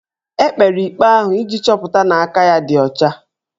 E kpere ikpe ahụ iji chọpụta na aka ya ọ dị ọcha